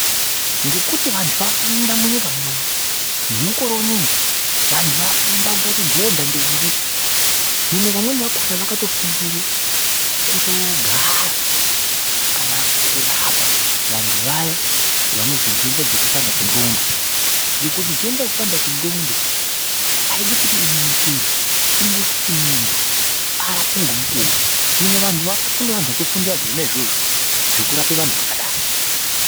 Ngekuti vantu vafunda munyika munomu. Nemukore uneu vanhu vafunda ungaita dhodha kana ndombi. Hino vamweni vakona vakatofundire kutogara kana kurapa vantu vaya vanozwa nhenda dzekupanda kwendxondo. Ngekuti nhenda yekupanda kwengxondo aidi kuti inonokerwe. Inoda kuti muntu arapwe ngemukuwo, Hino vantu kune vantu vakafundira zvona izvozvo zvekurapa vantu vakadaro.